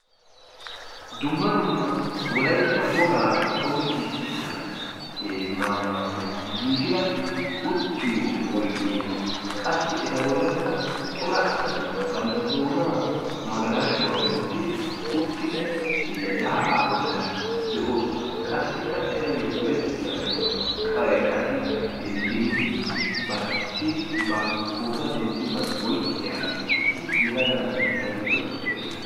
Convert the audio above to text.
Dumma dumma wolaytta wogaa qonccisiyaa maayuwaappe giigida uttiyoo oydee qassi eta bollankka cora asati bantta doonaan magalashshuwaa wottidi uttidi yaa'aa bollan de'oosona. qassikka etayoo odettiyaabay qassi denttidi ba silkkiyaa pootuwaa denttiyoogan oyqqiyaa issi yelaga na'ay eta giddon eqiis.